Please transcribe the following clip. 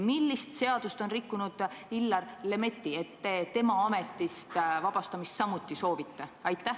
Millist seadust on rikkunud Illar Lemetti, et te tema ametist vabastamist samuti soovite?